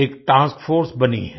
एक task force बनी है